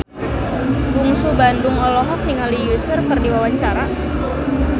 Bungsu Bandung olohok ningali Usher keur diwawancara